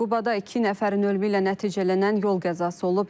Qubada iki nəfərin ölümü ilə nəticələnən yol qəzası olub.